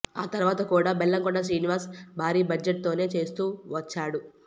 ఆ తర్వాత కూడా బెల్లంకొండ శ్రీనివాస్ భారీ బడ్జెట్తోనే చేస్తూ వచ్చాడు